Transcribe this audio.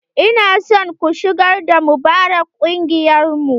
Ina son ku shigar da Mubarak kungiyar mu!